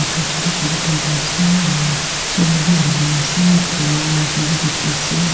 khor chutu chutu tuita ase aro solar bi halina ase middle tae wire khan bi dikhi ase.